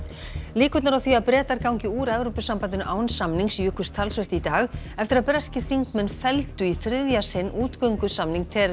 líkurnar á því að Bretar gangi úr Evrópusambandinu án samnings jukust talsvert í dag eftir að breskir þingmenn felldu í þriðja sinn útgöngusamning